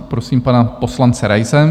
Prosím pana poslance Raise.